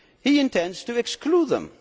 He intends to exclude them.